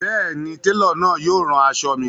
Bẹẹni, telo náà yóò rán aṣọ̣ mi.